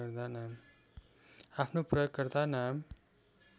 आफ्नो प्रयोगकर्ता नाम